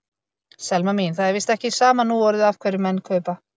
Selma mín, það er víst ekki sama núorðið af hverjum menn kaupa.